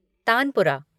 tanpura